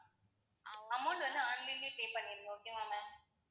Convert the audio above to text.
amount வந்து online லையே pay பண்ணிருங்க okay வா ma'am